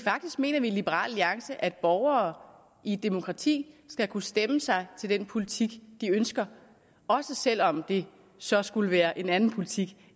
faktisk mener vi i liberal alliance at borgere i et demokrati skal kunne stemme sig til den politik de ønsker også selv om det så skulle være en anden politik